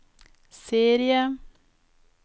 serie